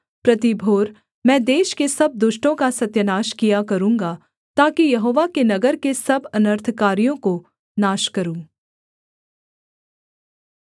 प्रति भोर मैं देश के सब दुष्टों का सत्यानाश किया करूँगा ताकि यहोवा के नगर के सब अनर्थकारियों को नाश करूँ